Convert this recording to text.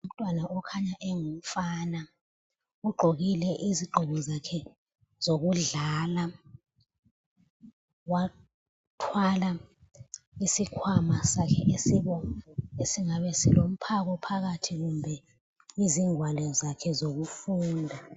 Umntwana okhanya engumfana ugqokile izigqoko zakhe zokudlala. Wathwala isikhwama sakhe esibomvu esingabe silomphako phakathi kumbe izingwalo zakhe zokufunda.